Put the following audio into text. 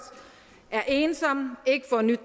er ensomme ikke får nyt